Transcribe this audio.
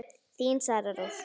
Þín, Sara Rós.